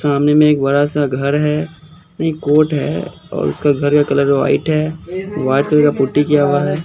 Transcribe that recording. सामने में एक बड़ा-सा घर है नहीं कोट है और उसका घर का कलर व्हाइट है व्हाइट कलर का पुट्टी किया हुआ है।